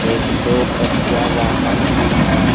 एक दो पहिया वाहन भी है।